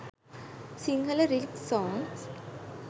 sinhala lyrics songs